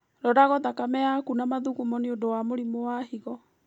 Roragwo thakame yaku na mathugumo nĩũndũ wa mũrimũ wa higo